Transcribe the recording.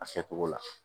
A kɛcogo la